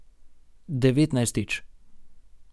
Devetnajstič.